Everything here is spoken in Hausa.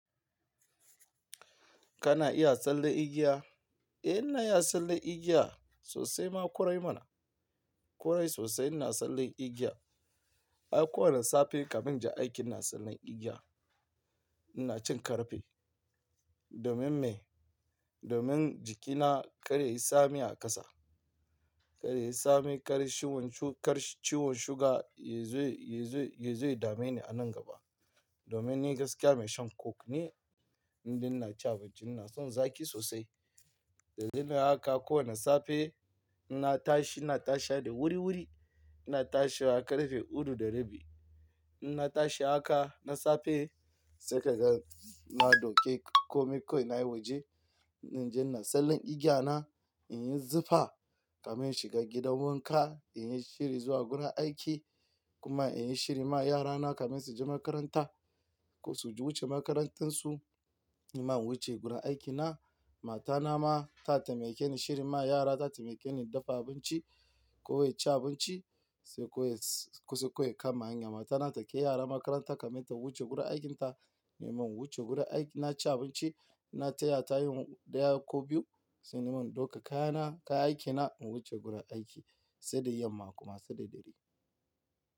Kana iya tsalle igiya? Eh ina iya tsalle igiya sosai ma korai mana. Korai sosai ina tsalle igiya. Ai kowane safe kamin ja aiki ina tsalle igiya. Ina cin karfe domin me? Domin jikina kar yayi tsami a ƙasa. Kar yayi tsami, kar ciwon sugar yazo, yazo, yazo ya dame ni a nan gaba. Domin ni gaskiya mai shan coke ne, inda ina ci abinci ina son zaki sosai. Da dadare haka kowane safe ina tashi, ina tashi wa da wuriwuri. Ina tashi wa karfe hudu da rabi. Ina tashi haka na safe sai ka gan na ɗauke komai ko na yi waje. In ji ina tsalle igiya na, in yi zufa kamin shiga gidan wanka, in yi shiri zuwa gurin aiki kuma in yi shiri ma yarana kamin su je makaranta. Ko su je wuce makarantunsu, ni ma in wuce gurin aikina. Matana ma taimake ni shirin ma yarana ta taimake ni dafa abinci ko in ci abinci sai ko kusa kama hanya Matana take kai yara makaranta kamin ta wuce gurin aikinta. Ni ma in wuce gurin aiki, na ci abinci, na taya ta yin ɗaya ko biyu sai ni ma in ɗauka kayana, kayan aikina in wuce gurin aiki, sai da yamma kuma sai da dare.